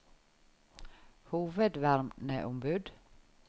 hovedverneombud